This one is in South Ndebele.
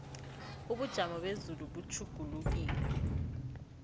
ubujamo bezulu butjhugulukile